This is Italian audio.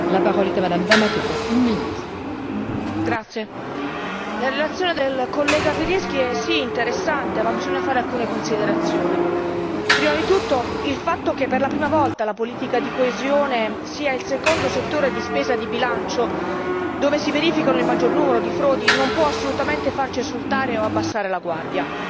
Signora Presidente, onorevoli colleghi, la relazione del collega Pirinski è sì interessante ma bisogna fare alcune considerazioni. Prima di tutto, il fatto che per la prima volta la politica di coesione sia il secondo settore di spesa di bilancio dove si verifica il maggior numero di frodi non può assolutamente farci esultare o abbassare la guardia.